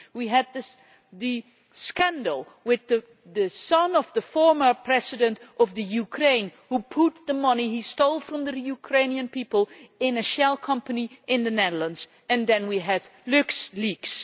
We had the scandal with the son of the former President of the Ukraine, who put the money he stole from the Ukrainian people into a shell company in the Netherlands and then we had LuxLeaks.